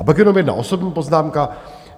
A pak jenom jedna osobní poznámka.